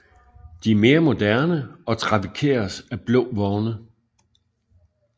De er mere moderne og trafikeres af blå vogne